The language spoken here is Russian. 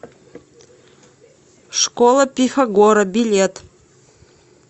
школа пифагора билет